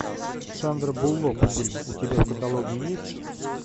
сандра буллок фильм у тебя в каталоге есть